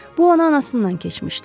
Bu ona anasından keçmişdi.